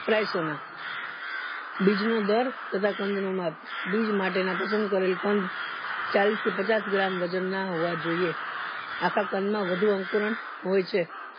સોના બીજ ના દર તથા કંદોમાં બીજ માટે પસંદ કરેલ કંદ ચાલીસ થી પચાસ ગ્રામ ના વજન ના હોવા જોઈએ અખા કંદ માં વધુ અંકો ના હોય છે